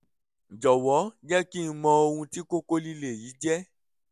jọ̀wọ́ jẹ́ kí n mọ ohun tí kókó líle yìí jẹ́